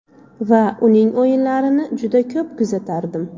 Va uning o‘yinlarini juda ko‘p kuzatardim.